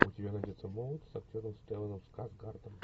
у тебя найдется молл с актером стелланом скарсгардом